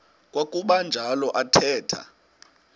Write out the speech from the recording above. kwakuba njalo athetha